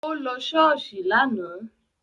Ó lọ ṣọ́ọ̀ṣì lánàá